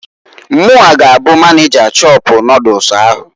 Munwa g'abụ maneja shọpụ noodles ahụ.